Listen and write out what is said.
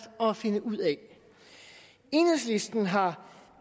at finde ud af enhedslisten har